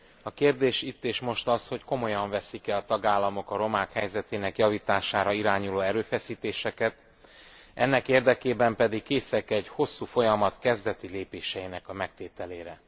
A kérdés itt és most az, hogy komolyan veszik e a tagállamok a romák helyzetének javítására irányuló erőfeszítéseket, ennek érdekében pedig készek e egy hosszú folyamat kezdeti lépéseinek megtételére.